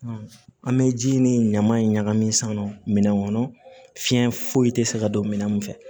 An bɛ ji ni ɲaman in ɲagami sisan nɔ minɛn kɔnɔ fiɲɛ foyi tɛ se ka don minɛn mun fɛ